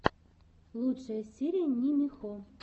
лучшая серия нимихо